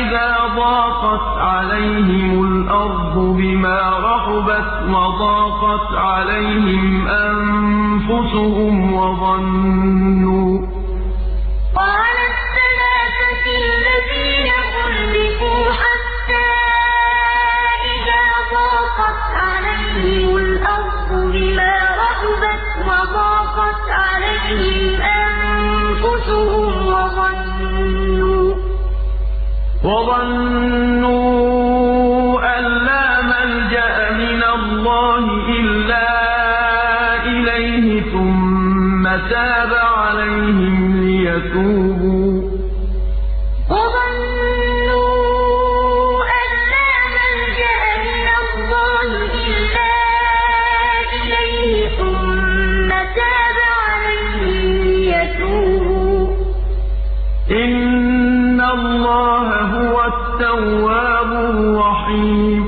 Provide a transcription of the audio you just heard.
إِذَا ضَاقَتْ عَلَيْهِمُ الْأَرْضُ بِمَا رَحُبَتْ وَضَاقَتْ عَلَيْهِمْ أَنفُسُهُمْ وَظَنُّوا أَن لَّا مَلْجَأَ مِنَ اللَّهِ إِلَّا إِلَيْهِ ثُمَّ تَابَ عَلَيْهِمْ لِيَتُوبُوا ۚ إِنَّ اللَّهَ هُوَ التَّوَّابُ الرَّحِيمُ وَعَلَى الثَّلَاثَةِ الَّذِينَ خُلِّفُوا حَتَّىٰ إِذَا ضَاقَتْ عَلَيْهِمُ الْأَرْضُ بِمَا رَحُبَتْ وَضَاقَتْ عَلَيْهِمْ أَنفُسُهُمْ وَظَنُّوا أَن لَّا مَلْجَأَ مِنَ اللَّهِ إِلَّا إِلَيْهِ ثُمَّ تَابَ عَلَيْهِمْ لِيَتُوبُوا ۚ إِنَّ اللَّهَ هُوَ التَّوَّابُ الرَّحِيمُ